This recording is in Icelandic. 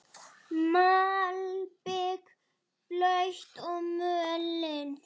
Malbik blautt og mölin.